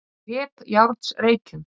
Kleppjárnsreykjum